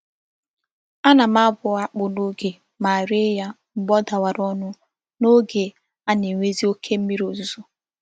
Ana m abu akpu n'oge ma ree ya mgbe o dawara onu n'oge a na-enwezi oke mmiri ozuzo.